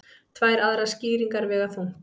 Tvær aðrar skýringar vega þungt